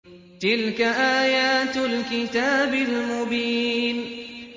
تِلْكَ آيَاتُ الْكِتَابِ الْمُبِينِ